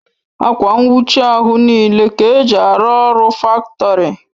Akwa nnwuchi ahụ n'ile Ka eji arụ ọrụ faktori